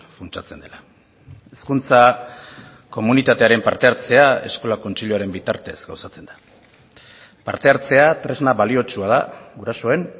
funtsatzen dela hezkuntza komunitatearen parte hartzea eskola kontseiluaren bitartez gauzatzen da parte hartzea tresna baliotsua da gurasoen